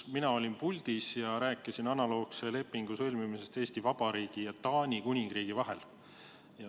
Mina olin siis puldis ja rääkisin analoogse lepingu sõlmimisest Eesti Vabariigi ja Taani Kuningriigi vahel.